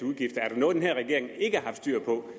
udgifter er der noget den her regering ikke har haft styr på